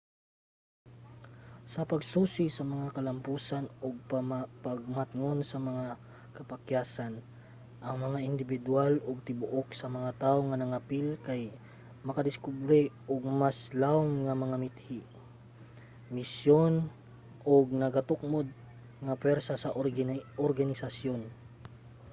sa pagsusi sa mga kalamposan ug pagmatngon sa mga kapakyasan ang mga indibidwal ug ang tibuok sa mga tawo nga nangapil kay makadiskubre og mas lawom nga mga mithi misyon ug nagatukmod nga puwersa sa organisasyon